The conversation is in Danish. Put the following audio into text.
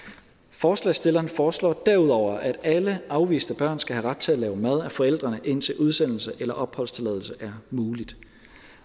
forslagsstillerne foreslår derudover at alle afviste børn skal have ret til mad lavet af forældrene indtil udsendelse eller opholdstilladelse er muligt